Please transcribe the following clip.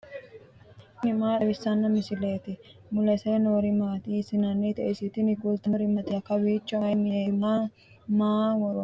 tini maa xawissanno misileeti ? mulese noori maati ? hiissinannite ise ? tini kultannori mattiya? Kawiichchi mayi mineetti? Maa ? Maa woroonni?